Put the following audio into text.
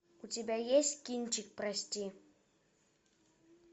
у тебя есть кинчик прости